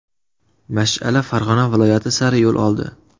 Mash’ala Farg‘ona viloyati sari yo‘l oldi.